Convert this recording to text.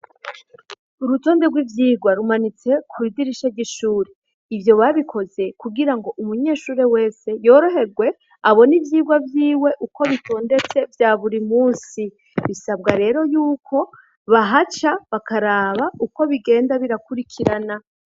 Urutonde rw'ivyirwa rumanitse kw'idirisha ry'ishuri ivyo babikoze kugira ngo umunyeshure wese yoroherwe abona ivyirwa vyiwe uko bitondetse vya buri musi bisabwa rero yuko bahaca bakaraba uko bigenda birakurikirana.